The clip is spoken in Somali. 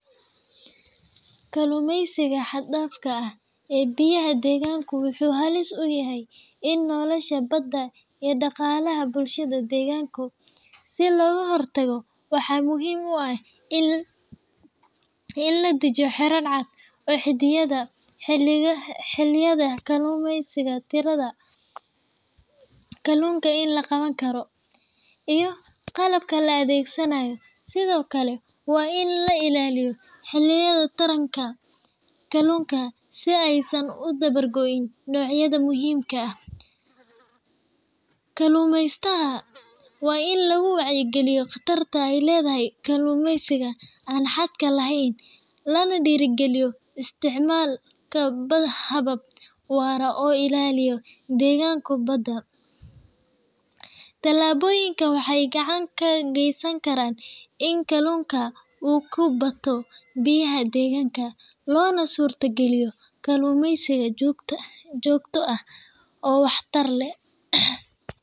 Kalluumaysiga xad-dhaafka ah ee biyaha deegaanka wuxuu halis ku yahay nolasha badda iyo dhaqaalaha bulshada deegaanka. Si looga hortago, waxaa muhiim ah in la dejiyo xeerar cad oo xaddidaya xilliyada kalluumaysiga, tirada kalluunka la qaban karo, iyo qalabka la adeegsanayo. Sidoo kale, waa in la ilaaliyo xilliyada taranka kalluunka si aysan u dabar go’in noocyada muhiimka ah. Kalluumaysatada waa in lagu wacyigeliyaa khatarta ay leedahay kalluumaysiga aan xadka lahayn, lana dhiirrigeliyo isticmaalka habab waara oo ilaaliya deegaanka badda. Tallaabooyinkan waxay gacan ka geysanayaan in kalluunka uu ku batao biyaha deegaanka, loona suurtageliyo kalluumaysi joogto ah oo waxtar leh.